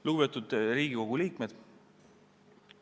Lugupeetud Riigikogu liikmed!